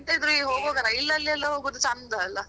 ಎಂಥ ಇದ್ರೂ rail ಅಲ್ಲಿಎಲ್ಲ ಹೋಗುದು ಚಂದ ಅಲ್ಲ.